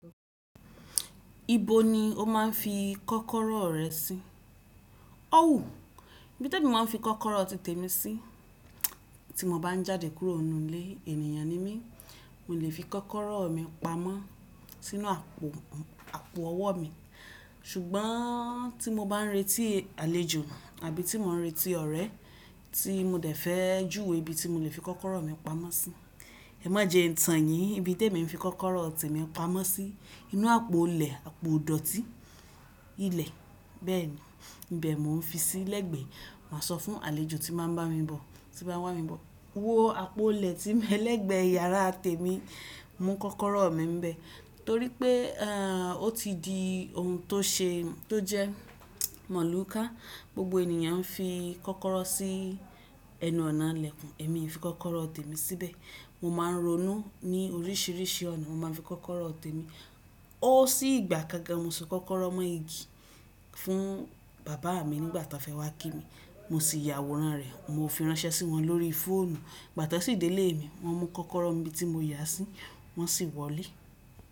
Ibo ni o máa ń fi kọ́kọ́rọ́ rẹ sí? Ó wùú, ibi tí mo máa ń fi kọ́kọ́rọ́ tí tèmi sí, tí mo bá ń jáde kúrò nínú ilé ènìyàn ni mí, mo lè fi kọ́kọ́rọ́ mi pamọ́ sínú àpò àpò ọwọ́ mi. Ṣùgbọ́n tí mo bá ń retí àlejò àbí tí mò ń retí ọ̀rẹ́ tí mo dẹ̀ fẹ́ júwe ibi tí mo lè fi kọ́kọ́rọ́ mi pamọ́ sí, ẹ má jẹ ìtàn yìí. Ibi tí èmi ń fi kọ́kọ́rọ́ ọtí mi pamọ́ sí, inú àpò ilẹ̀, àpò ìdọ̀tí ilẹ̀, bẹ́ẹ̀ni. Ìbẹ́ mo ń fi sí lẹ́gbẹ̀ẹ́, màá sọ fún àlejò tí máa ń bá mi bọ̀, tí bá wá mi bọ̀. Wo àpò ilẹ̀ tí mọ́ lẹ́gbẹ̀ẹ́ yàrá tèmi, mú kọ́kọ́rọ́ mi ń bẹ́. Torí pé o ti di ohun tó ṣe é, tó jẹ́ mọ̀lùka. Gbogbo ènìyàn ń fi kọ́kọ́rọ́ sí ẹnu-ọ̀nà ìlẹ̀kùn, èmi ń fi kọ́kọ́rọ́ ọtí mi síbẹ̀. Mo máa ń ronú ní oríṣiríṣi ọ̀nà, mo máa ń fi kọ́kọ́rọ́ ọtí mi. Ó sì gbà kákan mo so kọ́kọ́rọ́ mọ́ igi fún bàbá mi nígbà ta fẹ́ wá kí mi, mo sì yàwòrán rẹ̀, mo fi ránṣẹ́ sí wọn lórí fóònù. Ìgbà tan sì dé lè mi, wọ́n mú kọ́kọ́rọ́ n bi tí mo yà sí, wọ́n sì wọlé.